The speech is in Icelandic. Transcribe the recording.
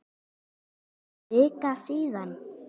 Það er orðin vika síðan.